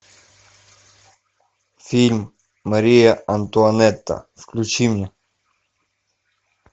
фильм мария антуанетта включи мне